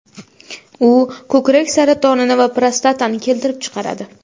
U ko‘krak saratonini va prostatani keltirib chiqaradi.